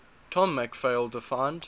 tom mcphail defined